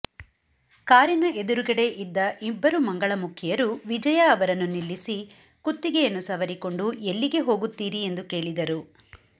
ಕಾರಿನ ಎದುರುಗಡೆ ಇದ್ದ ಇಬ್ಬರು ಮಂಗಳಮುಖಿಯರು ವಿಜಯ ಅವರನ್ನು ನಿಲ್ಲಿಸಿ ಕುತ್ತಿಗೆಯನ್ನು ಸವರಿಕೊಂಡು ಎಲ್ಲಿಗೆ ಹೋಗುತ್ತಿರಿ ಎಂದು ಕೇಳಿದರು